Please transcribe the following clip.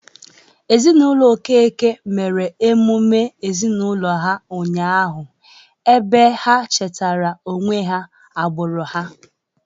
Ezinaụlọ Okeke mere emume ezinaụlọ ha ụnyahụ ebe ha chetara onwe ha agbụrụ ha.